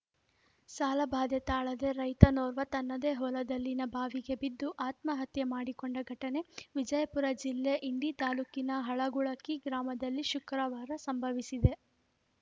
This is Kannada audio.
ಸಾಲಬಾಧೆ ತಾಳದೆ ರೈತನೋರ್ವ ತನ್ನದೇ ಹೊಲದಲ್ಲಿನ ಬಾವಿಗೆ ಬಿದ್ದು ಆತ್ಮಹತ್ಯೆ ಮಾಡಿಕೊಂಡ ಘಟನೆ ವಿಜಯಪುರ ಜಿಲ್ಲೆ ಇಂಡಿ ತಾಲೂಕಿನ ಹಳಗುಣಕಿ ಗ್ರಾಮದಲ್ಲಿ ಶುಕ್ರವಾರ ಸಂಭವಿಸಿದೆ